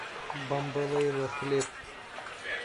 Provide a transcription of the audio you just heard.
бамбалейла хлеб